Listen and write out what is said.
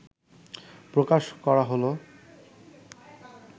প্রকাশ করা হলো